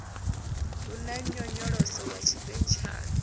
hu na nyonyoloso ya tshipentshala